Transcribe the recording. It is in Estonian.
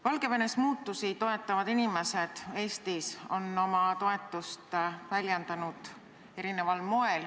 Valgevenes muutusi toetavad inimesed Eestis on oma toetust väljendanud erineval moel.